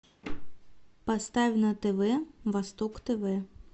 поставь на тв восток тв